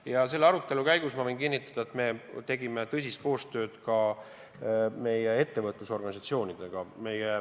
Ja selle arutelu käigus, ma võin kinnitada, me tegime tõsist koostööd ka meie ettevõtlusorganisatsioonidega.